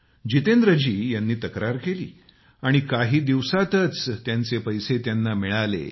जितेंद्रजी यांनी तक्रार केली आणि काही दिवसांतच त्यांचे पैसे त्यांना मिळाले